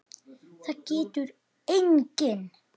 Það getur enginn!